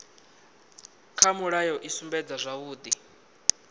kha mulayo i sumbedza zwavhudi